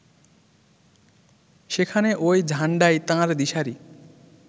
সেখানে ওই ঝান্ডাই তাঁর দিশারি